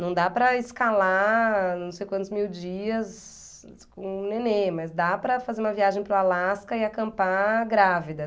Não dá para escalar não sei quantos mil dias com um nenê, mas dá para fazer uma viagem para o Alasca e acampar grávida.